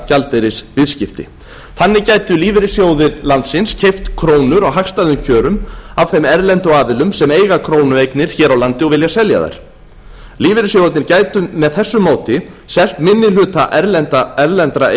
gjaldeyrisviðskipti þannig gætu lífeyrissjóðir landsins keypt krónur á hagstæðum kjörum af þeim erlendu aðilum sem eiga krónueignir hér á landi og vilja selja þær lífeyrissjóðirnir gætu með þessu móti selt minni hluta erlendra